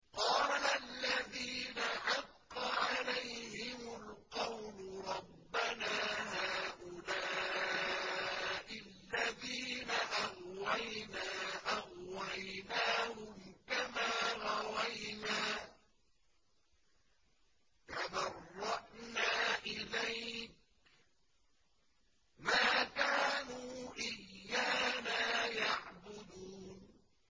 قَالَ الَّذِينَ حَقَّ عَلَيْهِمُ الْقَوْلُ رَبَّنَا هَٰؤُلَاءِ الَّذِينَ أَغْوَيْنَا أَغْوَيْنَاهُمْ كَمَا غَوَيْنَا ۖ تَبَرَّأْنَا إِلَيْكَ ۖ مَا كَانُوا إِيَّانَا يَعْبُدُونَ